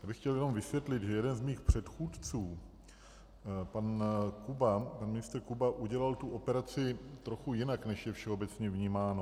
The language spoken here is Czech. Já bych chtěl jenom vysvětlit, že jeden z mých předchůdců, pan ministr Kuba, udělal tu operaci trochu jinak, než je všeobecně vnímáno.